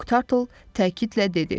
Moq Tartle təkidlə dedi: